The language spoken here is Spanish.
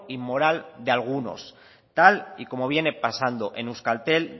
inmoral de algunos tal y como viene pasando en euskaltel